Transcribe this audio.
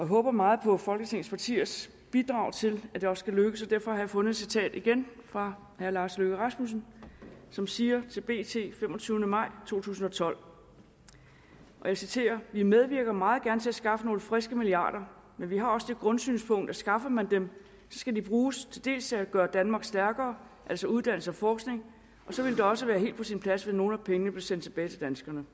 håber meget på folketingets partiers bidrag til at det også kan lykkes og derfor har jeg fundet et citat igen fra herre lars løkke rasmussen som siger følgende til bt den femogtyvende maj to tusind og tolv og jeg citerer vi medvirker meget gerne til at skaffe nogle friske milliarder men vi har også det grundsynspunkt at skaffer man dem så skal de bruges til dels at gøre danmark stærkere altså uddannelse og forskning og så ville det også være helt på sin plads hvis nogle af pengene blev sendt tilbage til danskerne